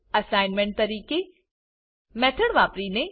assignment તરીકે method વાપરીને